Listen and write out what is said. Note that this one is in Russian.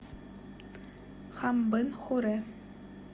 хамбын хурэ